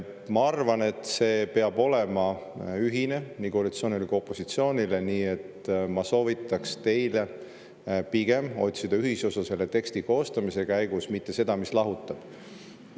Ma arvan, et see peab olema ühine nii koalitsioonile kui ka opositsioonile, nii et ma soovitaks teile pigem otsida selle teksti koostamise käigus ühisosa, mitte seda, mis lahutab.